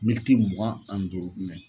mugan ani duuru mɛ